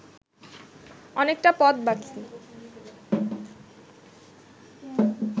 অনেকটা পথ বাকি